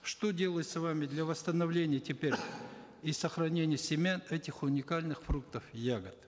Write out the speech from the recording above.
что делается вами для восстановления теперь и сохранения семян этих уникальных фруктов и ягод